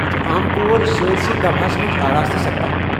یہِ چھُ عام طور سٲرِسٕے گواہَس مَنٛز آراستہٕ سپدان ۔